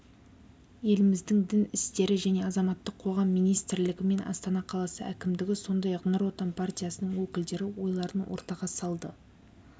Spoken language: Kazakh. еліміздің дін істері және азаматтық қоғам министрлігі мен астана қаласы әкімдігі сондай-ақ нұр отан партиясының өкілдері ойларын ортаға салды